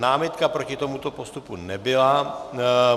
Námitka proti tomuto postupu nebyla.